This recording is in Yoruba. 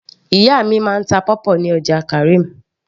ìyá mi máa ń ta pawpaw ní ọjà karim